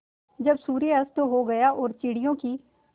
जब सूर्य अस्त हो गया और चिड़ियों की